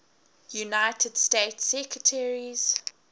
united states secretaries